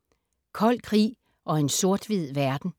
Kold krig og en sort/hvid verden